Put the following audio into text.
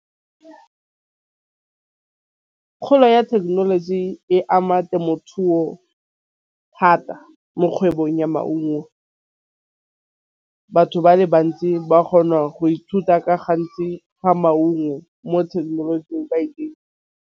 Kgolo ya thekenoloji e ama temothuo thata mo kgwebong ya maungo. Batho ba le bantsi ba kgona go ithuta ka gantsi ga maungo mo thekenolojing .